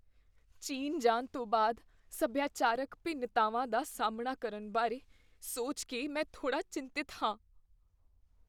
ਚੀਨ ਜਾਣ ਤੋਂ ਬਾਅਦ ਸਭਿਆਚਾਰਕ ਭਿੰਨਤਾਵਾਂ ਦਾ ਸਾਹਮਣਾ ਕਰਨ ਬਾਰੇ ਸੋਚ ਕੇ ਮੈਂ ਥੋੜ੍ਹਾ ਚਿੰਤਤ ਹਾਂ।